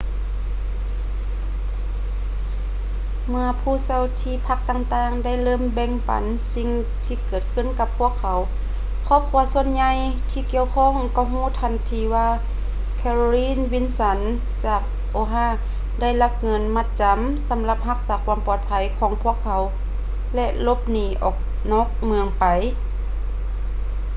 ເມື່ອຜູ້ເຊົ່າທີ່ພັກຕ່າງໆ ໄດ້ເລີ່ມແບ່ງປັນສິ່ງທີ່ເກີດຂຶ້ນກັບພວກເຂົາ ຄອບຄົວສ່ວນໃຫຍ່ທີ່ກ່ຽວຂ້ອງກໍຮູ້ທັນທີວ່າ ແຄໂຣລິນ ວິນສັນ carolyn wilson ຈາກ oha ໄດ້ລັກເງິນມັດຈຳສຳລັບຮັກສາຄວາມປອດໄພຂອງພວກເຂົາໄປ ແລະ ຫຼົບໜີອອກນອກເມືອງໄປ